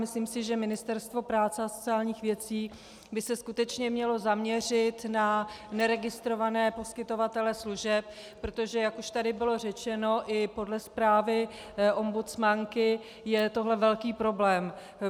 Myslím si, že Ministerstvo práce a sociálních věcí by se skutečně mělo zaměřit na neregistrované poskytovatele služeb, protože jak už tady bylo řečeno, i podle zprávy ombudsmanky je tohle velký problém.